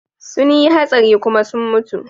Sun yi hatsari kuma sun mutu.